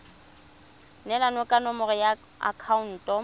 neelana ka nomoro ya akhaonto